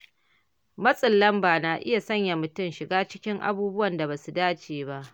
Matsin lamba na iya sanya mutum shiga cikin abubuwan da ba su dace ba.